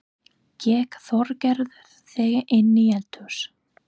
Gekk Þorgerður þegar inn í eldahús.